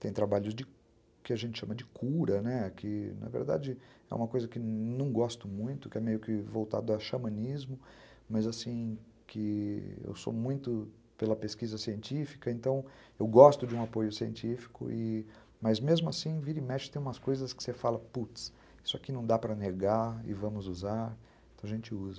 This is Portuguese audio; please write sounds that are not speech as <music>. Tem trabalhos de <unintelligible> que a gente chama de cura, né, que na verdade é uma coisa que não gosto muito, que é meio que voltado a xamanismo, mas assim, que eu sou muito pela pesquisa científica, então eu gosto de um apoio científico, e... mas mesmo assim, vira e mexe, tem umas coisas que você fala, putz, isso aqui não dá para negar e vamos usar, então a gente usa.